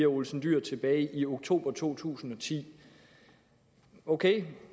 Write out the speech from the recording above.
olsen dyhr tilbage i oktober to tusind og ti okay